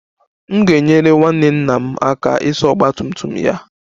M ga-enyere nwanne nna m aka ịsa ọgba tum tum ya